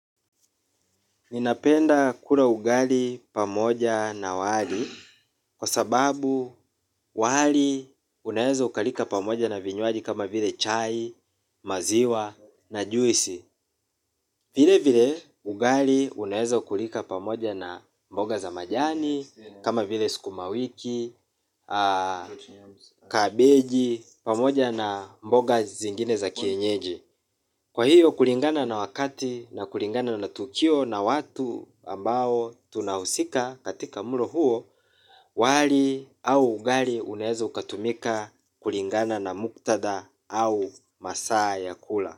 Ninapenda kula ugali pamoja na wali kwa sababu wali unaeza ukalika pamoja na vinywaji kama vile chai, maziwa na juisi. Vile vile ugali unaeza kulika pamoja na mboga za majani, kama vile sukuma wiki, kabeji, pamoja na mboga zingine za kienyeji. Kwa hiyo, kulingana na wakati na kulingana na tukio na watu ambao tunahusika katika mlo huo, wali au ugali unaeza ukatumika kulingana na muktadha au masaa ya kula.